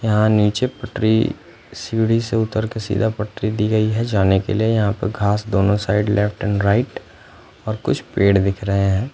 यहाँ नीचे पटरी सीढ़ी से उतर के सीधा पटरी दी गयी है जाने के लिए यहाँ पे घास दोनों साइड लेफ्ट एंड राइट और कुछ पेड़ दिख रहे हैं।